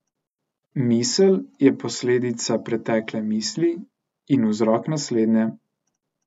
Misel je posledica pretekle misli in vzrok naslednje.